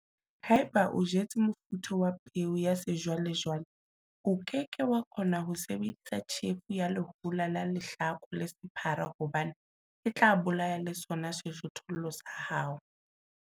Haeba o jetse mofuta wa peo ya sejwalejwale, o ke ke wa kgona ho sebedisa tjhefo ya lehola la lehlaku le sephara hobane e tla bolaya le sona sejothollo sa hao.